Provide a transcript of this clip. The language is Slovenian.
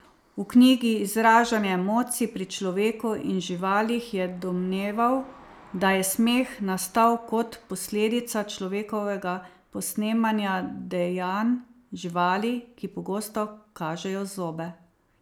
V knjigi Izražanje emocij pri človeku in živalih je domneval, da je smeh nastal kot posledica človekovega posnemanja dejanj živali, ki pogosto kažejo zobe.